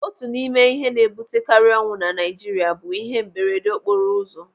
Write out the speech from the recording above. Otu n'ime ihe na-ebutekarị ọnwụ na Naijiria bụ ihe mberedeokporoụzọ.